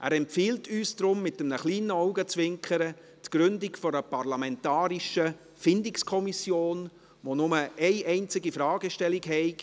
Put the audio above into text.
Er empfiehlt uns deshalb mit einem kleinen Augenzwinkern die Gründung einer parlamentarischen Findungskommission, die nur eine einzige Fragestellung habe: